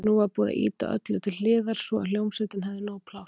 Nú var búið að ýta öllu til hliðar svo að hljómsveitin hefði nóg pláss.